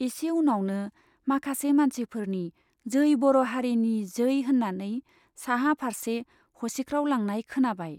एसे उनावनो माखासे मानसिफोरनि जै बर' हारिनि जै होन्नानै साहा फार्से हसिख्राव लांनाय खोनाबाय।